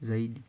zaidi.